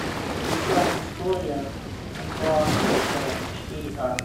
включай история антуана фишера четыре ка